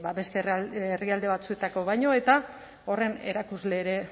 beste herrialde batzuetakoa baino eta horren erakusle ere